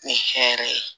Ni hɛrɛ ye